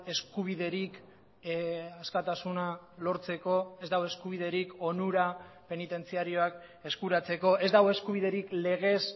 eskubiderik askatasuna lortzeko ez dago eskubiderik onura penitentziarioak eskuratzeko ez dago eskubiderik legez